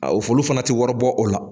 A fo folu fana tɛ wari bɔ o la.